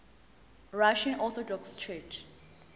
russian orthodox church